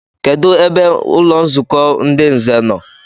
Kedụ ebe ụlọnzukọ ndị nze no?